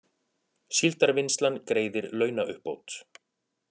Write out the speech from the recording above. Síldarvinnslan greiðir launauppbót